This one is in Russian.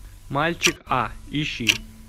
мальчик а ищи